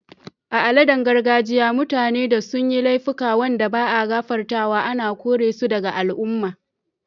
A'aladan gargajiya, mutane da sun yi laifuka wanda ba'a gafartawa ana kore su daga al'umman.